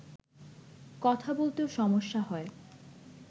কথা বলতেও সমস্যা হয়